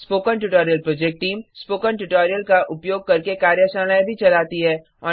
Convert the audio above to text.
spoken tutorial project team spoken tutorial का उपयोग करके कार्यशालाएँ भी चलाती है